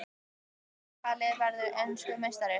Spurning dagsins: Hvaða lið verður enskur meistari?